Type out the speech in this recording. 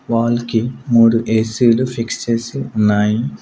Wall కి మూడు AC లు ఫిక్స్ చేసి ఉన్నాయి.